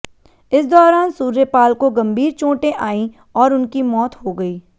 इस दौरान सूर्यपाल को गंभीर चोटें आईं और उनकी मौत हो गई